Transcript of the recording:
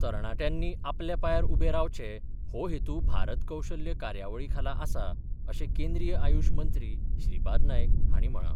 तरणाट्यांनी आपल्या पांयार उबे रावचें हो हेतू भारत कौशल्य कार्यावळी खाला आसा अशें केंद्रीय आयुश मंत्री श्रीपाद नायक हांणी म्हळां.